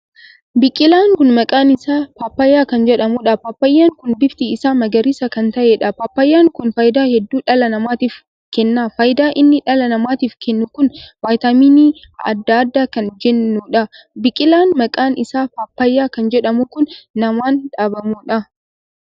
Biqilaan kun maqaan isaa paappayyaa kan jedhamuudha. paappayyaan kun bifti isaa magariisa kan taheedha. paappayyaan kun faayidaa hedduu dhala namaatiif kenna. faayidaa inni dhala namaatiif kennu kun vaayitamiin addaa addaa kan jennuudha. biqilaa maqaan isaa paappayyaa kan jedhamu kun namaan dhaabamuudha.